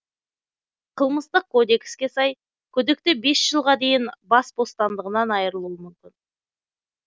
қылмыстық кодекске сай күдікті бес жылға дейін ас бостандығынан айырылуы мүмкін